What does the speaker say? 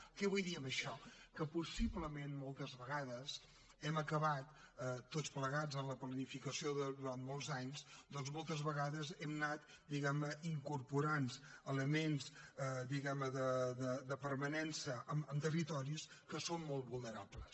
què vull dir amb això que possiblement moltes vegades hem acabat tots plegats en la planificació durant molts anys doncs moltes vegades hem anat diguem ne incorporant elements de permanència en territoris que són molt vulnerables